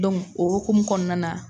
Donku o hukum kɔnɔnan na.